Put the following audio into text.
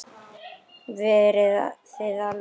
Verið þið alveg róleg.